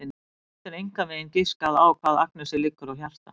Hún getur engan veginn giskað á hvað Agnesi liggur á hjarta.